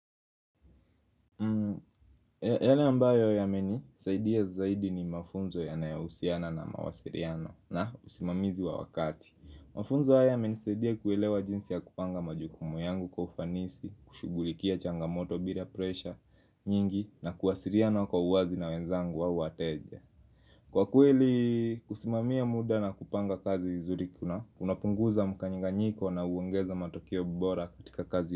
Yale ambayo yamenisaidia zaidi ni mafunzo yanayohusiana na mawasiriano na usimamizi wa wakati Mafunzo haya yamenisaidia kuwelewa jinsi ya kupanga majukumu yangu kwa ufanisi, kushugulikia changamoto bila presha nyingi na kuwasiriano kwa uwazi na wenzangu wa wateja Kwa kweli, kusimamia muda na kupanga kazi vizuri kuna, unapunguza mkanyinga nyiko na uengeza matokeo bora katika kazi.